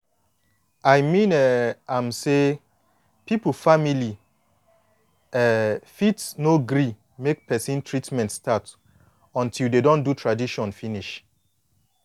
i mean um am say people family um fit no gree make treatment start until de don do tradition finish